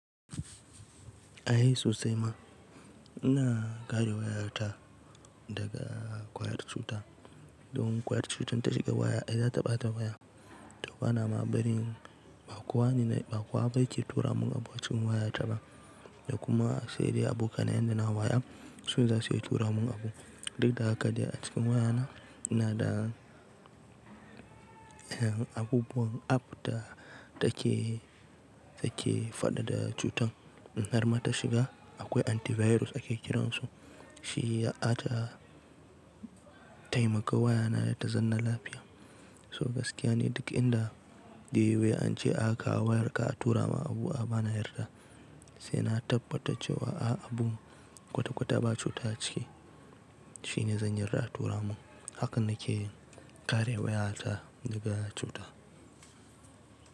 Ahe sosai ma. Ina kare wayata daga ƙwayar cuta, domin ƙwayar cutar ta shiga waya, ai za ta ɓata waya, to bana maɓarin ba kowane, ba kowa ba yake tura mun abu a cikin wayata ba da kuma sai dai abokanai na waya su zasu iya tura mun abu. Duk da haka dai a cikin wayana ina da abubuwan app da take, take faɗaɗa cutan in har ma ta shiga akwai antivirus ake kiransu. Shi ya ata taimaka wayana ta zanna lafiya. So gaskiya ni duk inda da yiwai an ce aka wayarka aka tura ma abu a bana yarda sai na tabbata cewa a'a abun kwata-kwata ba cuta a ciki shine zan yarda a tura mun. Haka na ke kare wayata daga cuta.